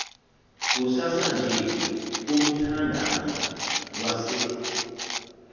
kusasanje kumthandazo wase